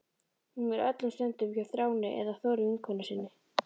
Hún er öllum stundum hjá Þráni eða Þóru vinkonu sinni.